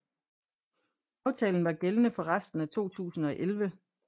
Aftalen var gældende for resten af 2011